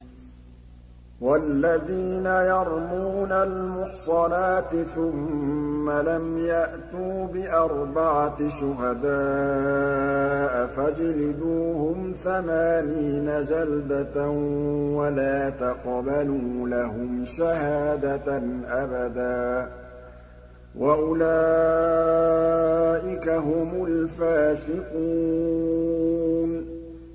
وَالَّذِينَ يَرْمُونَ الْمُحْصَنَاتِ ثُمَّ لَمْ يَأْتُوا بِأَرْبَعَةِ شُهَدَاءَ فَاجْلِدُوهُمْ ثَمَانِينَ جَلْدَةً وَلَا تَقْبَلُوا لَهُمْ شَهَادَةً أَبَدًا ۚ وَأُولَٰئِكَ هُمُ الْفَاسِقُونَ